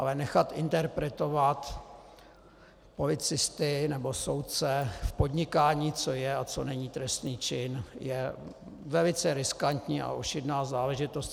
Ale nechat interpretovat policisty nebo soudce v podnikání, co je a co není trestný čin, je velice riskantní a ošidná záležitost.